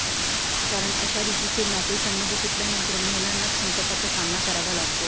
कारण अशारितीचे नोतसंबंध तुटल्यानंतर महिलांनाच संकटाचा सामना करावा लागतो